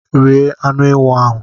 Rie anụ ewụ ahụ!